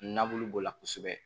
Nabu b'o la kosɛbɛ